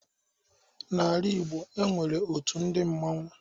N'ala Ịgbo, e nwere otu ndị mmanwu.